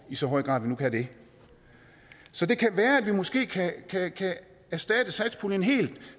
i så høj grad vi nu kan det så det kan være at vi måske kan erstatte satspuljen helt